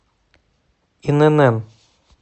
инн